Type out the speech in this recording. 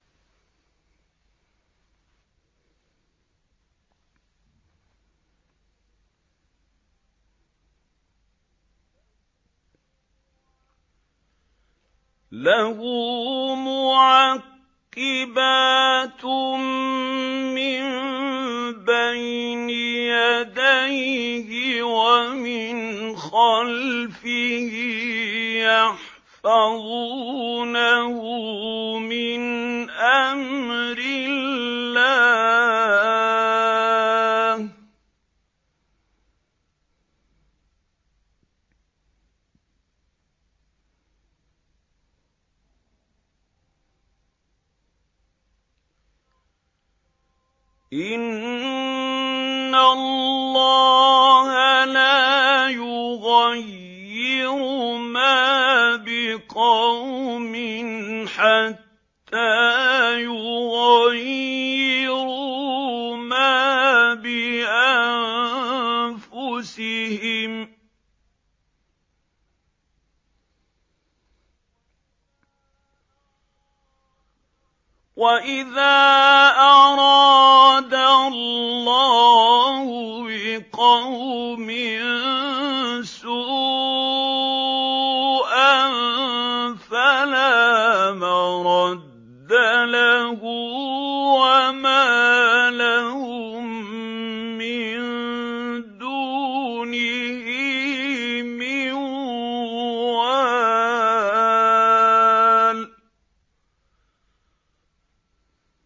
لَهُ مُعَقِّبَاتٌ مِّن بَيْنِ يَدَيْهِ وَمِنْ خَلْفِهِ يَحْفَظُونَهُ مِنْ أَمْرِ اللَّهِ ۗ إِنَّ اللَّهَ لَا يُغَيِّرُ مَا بِقَوْمٍ حَتَّىٰ يُغَيِّرُوا مَا بِأَنفُسِهِمْ ۗ وَإِذَا أَرَادَ اللَّهُ بِقَوْمٍ سُوءًا فَلَا مَرَدَّ لَهُ ۚ وَمَا لَهُم مِّن دُونِهِ مِن وَالٍ